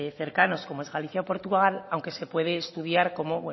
cercanos como es galicia o portugal aunque se puede estudiar como